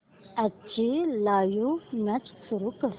आजची live match सुरू कर